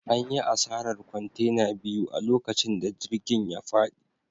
An yi asarar kwantena biyu a lokacin da jirgin ya fadi.